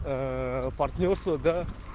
партнёрство да